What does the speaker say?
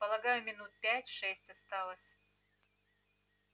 полагаю минут пять-шесть осталось